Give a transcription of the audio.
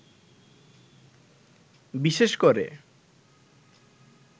বিশেষ করে